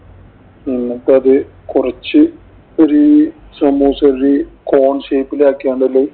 എന്നിട്ടത് കൊറച്ച് ഒരു സമൂസ ഒരു corn shape ഇലാക്കി അതില്